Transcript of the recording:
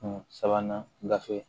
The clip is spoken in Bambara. sabanan gafe